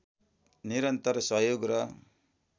निरन्तर सहयोग र